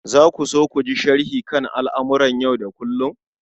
Za ku so ku ji sharhi kan al'amuran yau da kullum?